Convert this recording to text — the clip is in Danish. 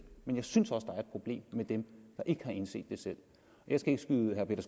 men jeg synes også problem med dem der ikke har indset det selv jeg skal ikke skyde herre peter